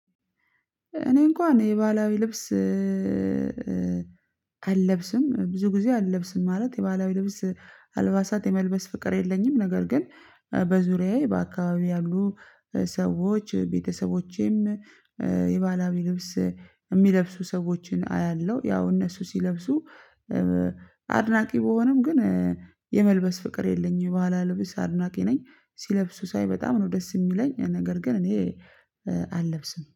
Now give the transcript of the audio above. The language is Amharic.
እኔ እንኳን የባህላዊ ልብስ አለብስም ብዙ ጊዜ አለብስም። ማለት የባህላዊ ልብስ አልባሳት የመልበስ ፍቅር የለኚም። ነገር ግን በዙሪያዬ በአካባቢው ያሉ ሰዎች ቤተሰቦቼም የባህላዊ ልብስ የሚለብሱ ሰዎችን አያለሁ። ያው እነሱ ሲለብሱ አድናቂ ብሆንም ግን የመልበስ ፍቅር የለኝም። የባህላዊ ልብስ አድናቂ ነኝ ሲለብሱ ሳይ በጣም ነው ደስ የሚለኝ። ነገር ግን እኔ አለብስም